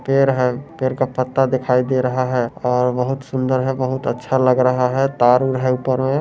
पेड़ है पेड़ का पत्ता दिखाई दे रहा है और बहुत सुन्दर है बहुत अच्छा लग रहा है तारुल हे तार-उर है ऊपर में